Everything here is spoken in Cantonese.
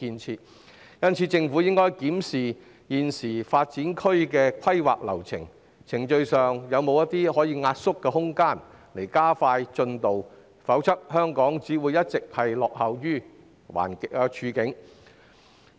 因此，政府應檢討現時新發展區的規劃流程，看看程序上有否壓縮的空間，從而加快進度，否則香港只會一直處於落後的處境。